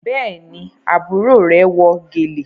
Béèni àbúrò rẹ wọ gèlè.